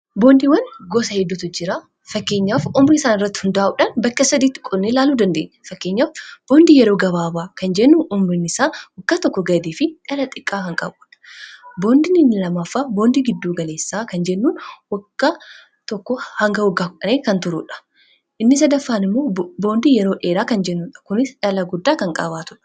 boondiiwwan gosa heddutu jira fakkeenyaaf umri isaan irratti hundaa'uudhaan bakka sadiitti qonne laaluu dandeenya fakkeenyaaf yeroo gabaabaa kan jennu umrin isaa waggaa tokko gadii fi dhala xiqqaa kan qabu. boondin lamaffaa boondii gidduu galeessaa kan jennuun wagga tokkoo hanga kan turuudha, inni sadaffaan immoo boondii yeroo dheeraa kan jennudha kuni dhala guddaa kan qabaatudha.